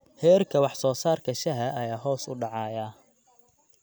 Heerka wax-soo-saarka shaaha ayaa hoos u dhacaya.